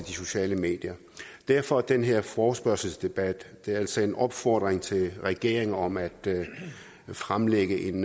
sociale medier derfor den her forespørgselsdebat det er altså en opfordring til regeringen om at fremlægge en